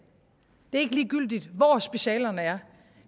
det er ikke ligegyldigt hvor specialerne er